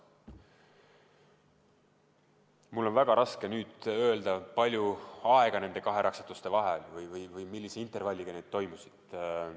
Mul on väga raske nüüd öelda, palju oli aega nende kahe raksatuse vahel, millise intervalliga need toimusid.